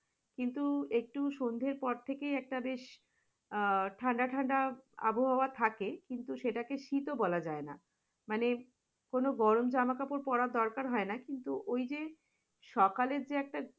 কিন্তু একটি সন্ধ্যের পর থেকে একটা বেশ আহ ঠান্ডা ঠান্ডা আবহাওয়া থাকে কিন্তু সেটাকে শীতো বলা যায় না, মানে কোন গরম জামা কাপড় পরার দরকার হয়না কিন্তু ঐ যে, সকালের যে একটা